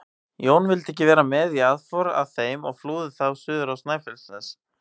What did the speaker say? Jón vildi ekki vera með í aðför að þeim og flúði þá suður á Snæfellsnes.